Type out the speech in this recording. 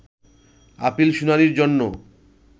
appeal শুনানির জন্য